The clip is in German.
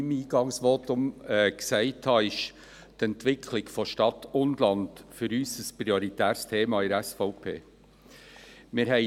Wie ich in meinem Eingangsvotum gesagt habe, ist die Entwicklung von Stadt und Land für uns von der SVP ein prioritäres Thema.